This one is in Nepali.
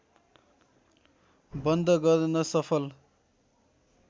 बन्द गर्न सफल